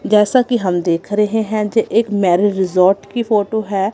जैसा कि हम देख रहे हैं ये एक मैरिज रिसॉर्ट की फोटो है।